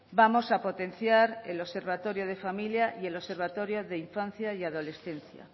vamos a potenciar el observatorio de familia y el observatorio de infancia y adolescencia